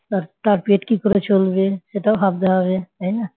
তার তার পেট কি করে চলবে সেটাও ভাবতে হবে তাই না